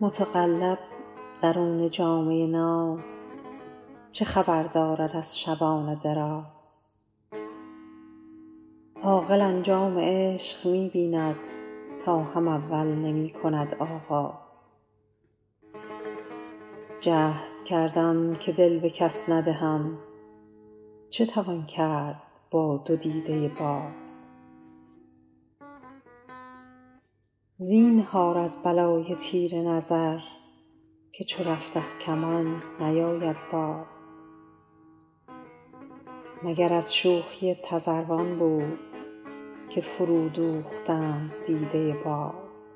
متقلب درون جامه ناز چه خبر دارد از شبان دراز عاقل انجام عشق می بیند تا هم اول نمی کند آغاز جهد کردم که دل به کس ندهم چه توان کرد با دو دیده باز زینهار از بلای تیر نظر که چو رفت از کمان نیاید باز مگر از شوخی تذروان بود که فرودوختند دیده باز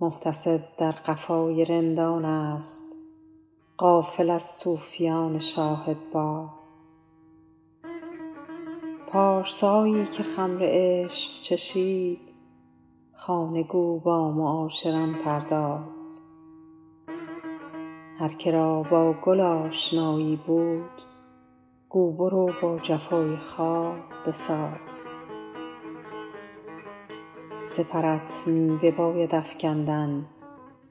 محتسب در قفای رندانست غافل از صوفیان شاهدباز پارسایی که خمر عشق چشید خانه گو با معاشران پرداز هر که را با گل آشنایی بود گو برو با جفای خار بساز سپرت می بباید افکندن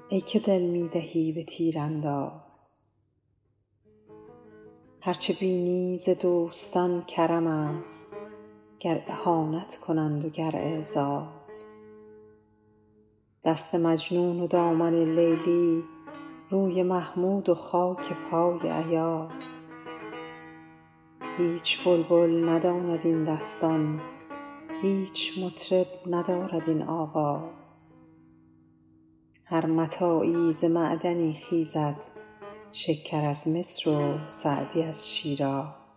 ای که دل می دهی به تیرانداز هر چه بینی ز دوستان کرمست گر اهانت کنند و گر اعزاز دست مجنون و دامن لیلی روی محمود و خاک پای ایاز هیچ بلبل نداند این دستان هیچ مطرب ندارد این آواز هر متاعی ز معدنی خیزد شکر از مصر و سعدی از شیراز